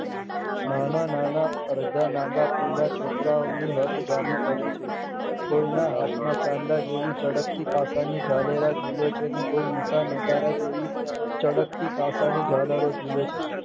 નાના અડધા નાગાપૂંગાં છોકરાઓની હઠ જામી પડી છે કોઈના હાથમાં ચાંદા જેવી ચળકતી કાતરની ઝાલેલા ઝૂલે છે ને કોઈ મોટા નગારા જેવી ચળકતી કાતરની ઝાલરો ઝૂલે છે.